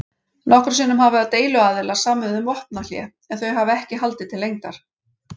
Nokkrum sinnum hafa deiluaðilar samið um vopnahlé en þau hafa ekki haldið til lengdar.